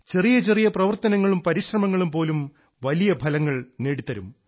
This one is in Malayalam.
ചെറിയ ചെറിയ പ്രവർത്തനങ്ങളും പരിശ്രമങ്ങളും പോലും വലിയ ഫലങ്ങൾ നേടിത്തരും